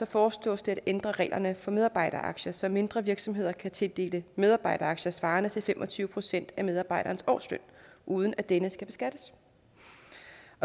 foreslås det at ændre reglerne for medarbejderaktier så mindre virksomheder kan tildele medarbejderaktier svarende til fem og tyve procent af medarbejderens årsløn uden at denne skal beskattes